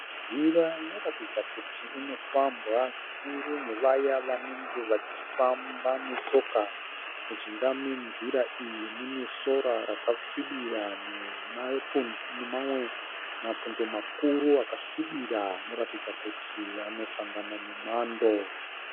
Nzira inoratidza kuti inofambwa zvikuru nevaya vanenge vachifamba netsoka. Mujinga menzira iyi mune sora rakasvibira nemamwe mapundo makuru akasvibira anoratidza kuti anosanga na nemwando.